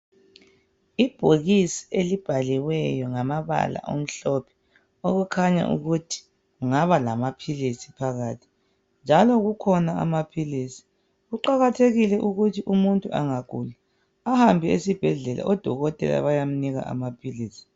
Ibhokisi elibhaliweyo ngamabala amhlophe okukhanya ukuthi kungaba lamapills phakathi njalo kukhona amapills kuqakathekile ukuthi umuntu engagula ahambe esibhedlela odokotela beyemnika amapills